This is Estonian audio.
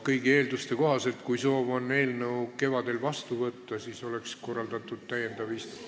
Kõigi eelduste kohaselt on nii, et kui soovitakse eelnõu kevadel vastu võtta, siis oleks korraldatud täiendav istung.